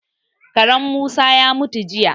Karen Musa ya mutu jiya.